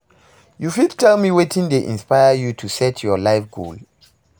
you fit tell me wetin dey inspire you to set your life goal?